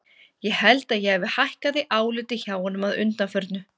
Ég held að ég hafi hækkað í áliti hjá honum að undanförnu.